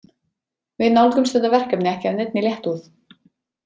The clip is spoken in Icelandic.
Við nálgumst þetta verkefni ekki af neinni léttúð.